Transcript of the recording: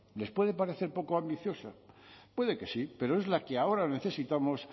les puede parecer poco ambiciosa puede que sí pero es la que ahora necesitamos